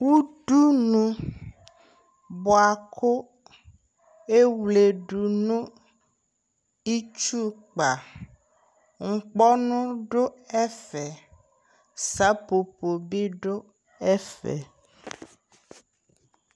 Udunu bua ku ewledu nu itsu kpaNkpɔ nu du ɛfɛSa popo bi du ɛfɛ